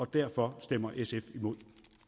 derfor stemmer sf imod